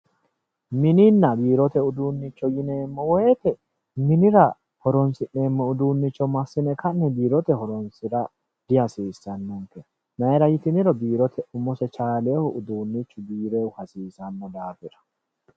Mininna biirote uduunicho yineemmo woyte minira horonsineemmo uduunicho massine ka'ne biirote horonsira dihasiisano, mayra ytinniro biirote umose chaalinohu biirohu uduunichu hasiisano daafira.